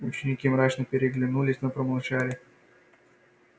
ученики мрачно переглянулись но промолчали